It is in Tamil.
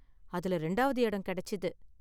அதில ரெண்டாவது எடம் கெடைச்சது.